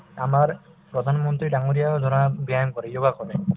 আমাৰ প্ৰধানমন্ত্ৰী ডাঙৰীয়াও ধৰা ব্যায়াম কৰে য়োগা কৰে